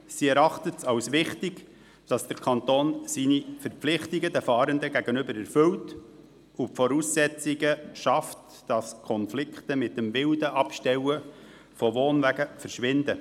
Sie erachtet es als wichtig, dass der Kanton seine Verpflichtungen den Fahrenden gegenüber erfüllt und die Voraussetzungen schafft, dass Konflikte aufgrund des wilden Abstellens von Wohnwagen verschwinden.